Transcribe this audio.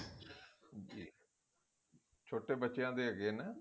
ਛੋਟੇ ਬੱਚਿਆਂ ਦੇ ਹੈਗੇ ਆ ਨਾ